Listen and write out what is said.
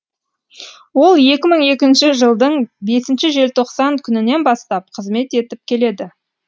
ол екі мың екінші жылдың бесінші желтоқсан күнінен бастап қызмет етіп келеді